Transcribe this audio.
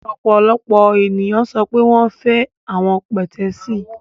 Ọpọlọpọ eniyan sọ pe wọn fẹ awọn pẹtẹẹsì